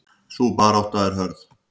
Sú barátta er hörð.